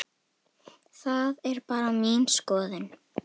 Það er bara mín skoðun.